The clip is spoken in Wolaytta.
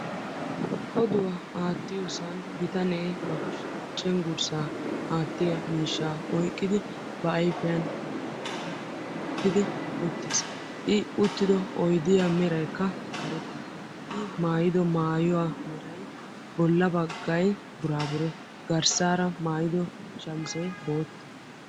Oduwa aattiyosan bitanee ba kushiyan cenggurssa aattiya miishshaa oyqqidi back ayfiyan maxaaxiriya wottidi uttiis. I uttido oydiyaa merayikka karetta. I maayido maayuwaa meray bolla baggay burabure. Garssaara maayido shamizee boottaa.